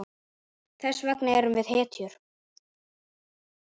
Þess vegna erum við hetjur.